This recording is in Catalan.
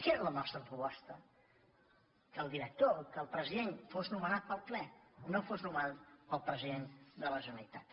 era la nostra proposta que el director que el president fos nomenat pel ple no fos nomenat pel president de la generalitat